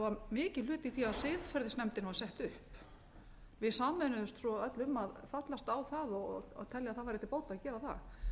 vega mikinn hlut í því að siðferðisnefndin var sett upp við sameinuðumst svo öll um að fallast á það og telja að það væri til bóta að